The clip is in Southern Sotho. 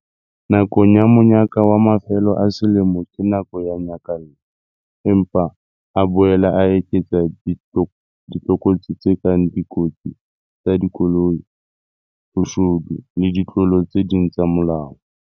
Nako ya monyaka wa mafelo a selemo ke nako ya nyakallo. Empa e boela e eketsa ditlokotsi tse kang dikotsi tsa dikoloi, boshodu le ditlolo tse ding tsa molao.